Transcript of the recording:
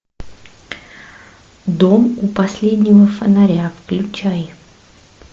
дом у последнего фонаря включай